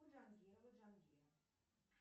джангирова джангира